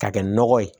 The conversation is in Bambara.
K'a kɛ nɔgɔ ye